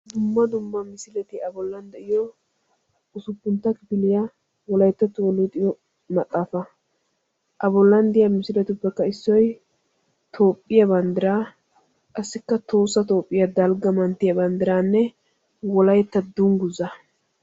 Dumma dumma misileti a bollan de'yoo usppuntta kifiliyaa wolayttattuwaa luxiyoo maxaafaa. a bollan de'iya misiletuppekka issoy toophphiyaa banddiraa qassikka tohossa toohphphiyaa dalgga manttiyaa banddiraanne wolaytta dunguzzaa.